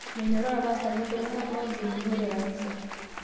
Menyoraa lpastani ltung'ana loogilunore kanisa